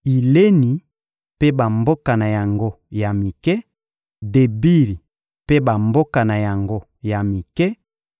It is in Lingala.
Ileni mpe bamboka na yango ya mike; Debiri mpe bamboka na yango ya mike;